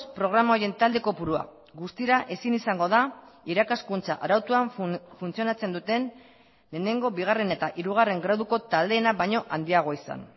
programa horien talde kopurua guztira ezin izango da irakaskuntza arautuan funtzionatzen duten lehenengo bigarren eta hirugarren graduko taldeena baino handiagoa izan